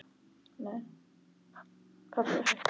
Það skiptir svo miklu máli.